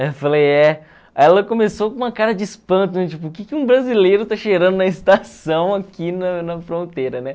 Aí eu falei, é. Aí ela começou com uma cara de espanto, tipo, o que que um brasileiro tá cheirando na estação aqui na na fronteira, né?